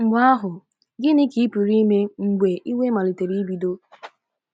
Mgbe ahụ, gịnị ka ị pụrụ ime mgbe iwe malitere ibido?